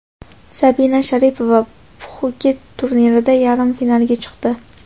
Sabina Sharipova Pxuket turnirida yarim finalga chiqdi .